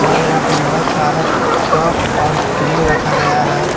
और यहां पे बहुत सारा कप और क्रीम रखा गया है।